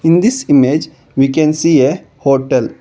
In this image we can see a hotel.